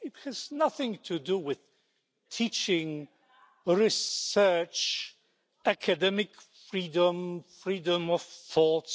It has nothing to do with teaching, research, academic freedom or freedom of thought.